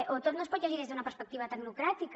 o tot no es pot llegir des d’una perspectiva tecnocràtica